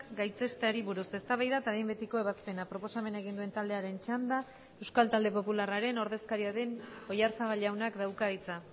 gaitzesteari buruz eztabaida eta behin betiko ebazpena proposamena egin duen taldearen txanda euskal talde popularraren ordezkaria den oyarzabal jaunak dauka hitza